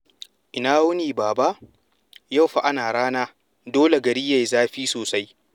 Ina wuni, Baba? Yau fa ana rana, dole gari yayi zafi sosai.